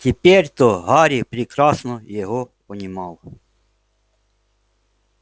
теперь-то гарри прекрасно его понимал